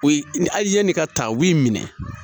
O ye hali yanni ka ta b'i minɛ